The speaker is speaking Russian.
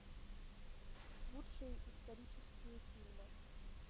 лучшие исторические фильмы